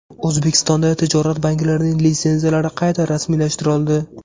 O‘zbekistonda tijorat banklarining litsenziyalari qayta rasmiylashtirildi.